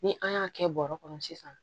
Ni an y'a kɛ bɔrɔ kɔnɔ sisan